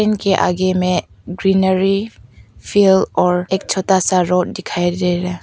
इनके आगे में ग्रीनरी फील और एक छोटा सा रोड दिखाई दे रहा।